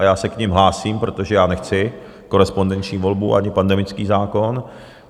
A já se k nim hlásím, protože já nechci korespondenční volbu ani pandemický zákon.